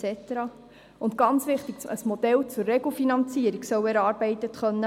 Zudem – das ist ganz wichtig – soll ein Modell zur Regelfinanzierung erarbeitet werden können.